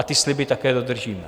A ty sliby také dodržíme.